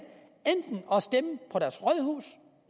og stemme på deres rådhus